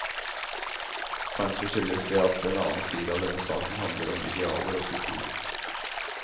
Kanskje skyldes det at en annen side av denne saken handler om idealer og kultur.